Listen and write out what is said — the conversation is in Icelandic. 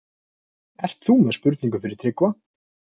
Ert þú með spurningu fyrir Tryggva?